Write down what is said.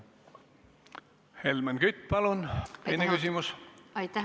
Helmen Kütt, palun teine küsimus!